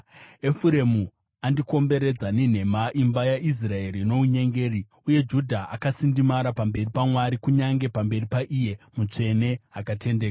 Efuremu andikomberedza nenhema, imba yaIsraeri nounyengeri. Uye Judha akasindimara pamberi paMwari, kunyange pamberi paIye Mutsvene Akatendeka.